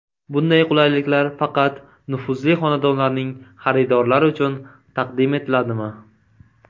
Bunday qulayliklar faqat nufuzli xonadonlarning xaridorlari uchun taqdim etiladimi?